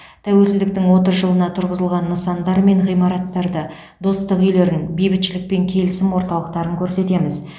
тәуелсіздіктің отыз жылына тұрғызылған нысандар мен ғимараттарды достық үйлерін бейбітшілік пен келісім орталықтарын көрсетеміз